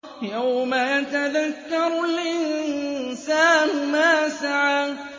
يَوْمَ يَتَذَكَّرُ الْإِنسَانُ مَا سَعَىٰ